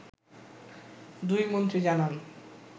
দুই মন্ত্রী জানান